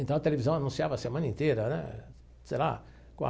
Então, a televisão anunciava a semana inteira né será.